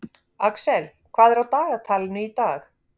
Axel, hvað er á dagatalinu í dag?